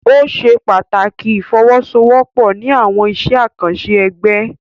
O ṣe pàtàkì ifowosowopo ní awọn iṣẹ akanṣe ẹgbẹ.